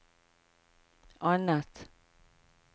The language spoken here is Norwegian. annet